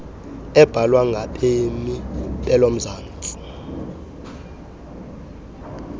ebhalwa ngabemmi belomzantsi